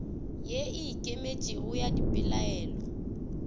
ye e ikemetšego ya dipelaelo